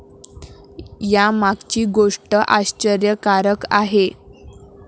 यामागची गोष्ट आश्चर्यकारक आहे.